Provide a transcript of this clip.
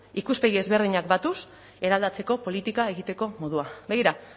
ikuspegi ezberdinak batuz eraldatzeko politika egiteko modua begira